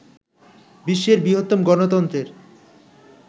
বিশ্বের বৃহত্তম গণতন্ত্রের